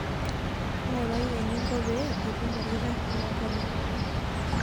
Ngurai eninko pee itum olkitarri loonkonyek.